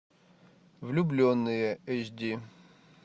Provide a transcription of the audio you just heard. влюбленные эйч ди